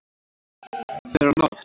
Fer hann oft?